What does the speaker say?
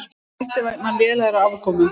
Hætti vegna lélegrar afkomu